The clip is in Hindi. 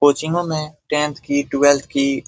कोचिंगो में टेंथ की ट्वेलवैथ की--